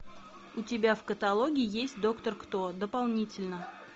у тебя в каталоге есть доктор кто дополнительно